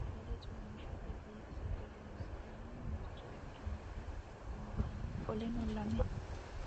sagali comishatenna bifisate horonsine'morich ikinota bunxana qoleno lame?